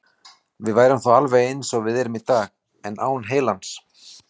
Við værum þá alveg eins og við erum í dag, en án heilans.